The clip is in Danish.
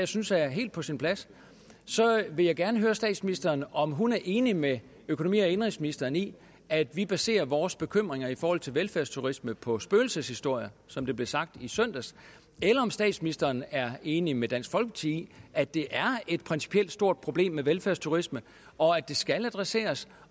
synes er helt på sin plads vil jeg gerne høre statsministeren om hun er enig med økonomi og indenrigsministeren i at vi baserer vores bekymringer i forhold til velfærdsturisme på spøgelseshistorier som det blev sagt i søndags eller om statsministeren er enig med dansk folkeparti i at det er et principielt stort problem med velfærdsturisme og at det skal adresseres